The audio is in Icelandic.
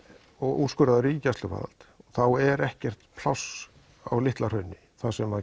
og úrskurðaður í gæsluvarðhald er ekkert pláss á Litla hrauni þar sem